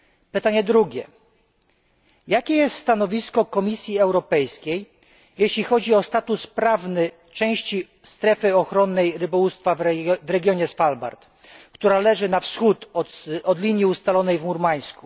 Pytanie drugie jakie jest stanowisko Komisji Europejskiej jeśli chodzi o status prawny części strefy ochronnej rybołówstwa w regionie Svalbard, która leży na wschód od linii ustalonej w Murmańsku?